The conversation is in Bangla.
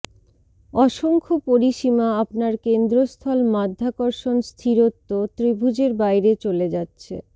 অসংখ্য পরিসীমা আপনার কেন্দ্রস্থল মাধ্যাকর্ষণ স্থিরত্ব ত্রিভুজের বাইরে চলে যাচ্ছে